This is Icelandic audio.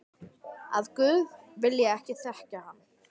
Að guð vilji ekki þekkja hann.